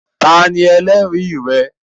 Tani ẹlẹri rẹ?